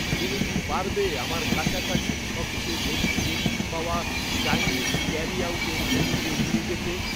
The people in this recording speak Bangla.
তুমি কি পারবে আমার কাছাকাছি সবচেয়ে বেশি রেটিং পাওয়া চাইনিজ ক্যারিআউটের মেন্যুতে নিয়ে যেতে?